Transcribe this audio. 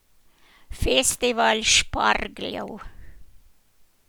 Festival špargljev.